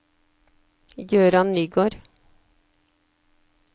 Jøran Nygård